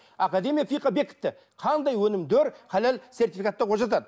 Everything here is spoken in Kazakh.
академия бекітті қандай өнімдер халал сертификаттауға жатады